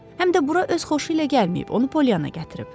Həm də bura öz xoşu ilə gəlməyib, onu Poliyana gətirib.